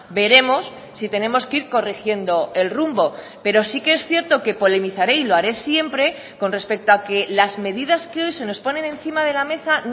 veremos si tenemos que ir corrigiendo el rumbo pero sí que es cierto que polemizare y lo haré siempre con respecto a que las medidas que hoy se nos ponen encima de la mesa